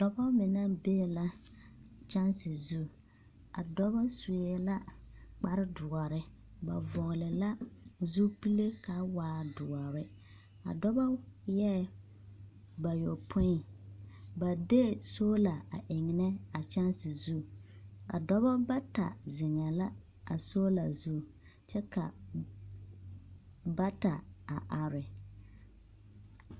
Dɔba mine bee la kyanse zu. A dɔba suee la kpar doɔre. Ba vɔgle la zupile kaa waa doɔre. A dɔbo eɛɛ bayopoi. Ba dee sola a eŋenɛ a kyanse zu. A dɔba bata zeŋɛɛ la a sola zu, kyɛ ka n bata a are.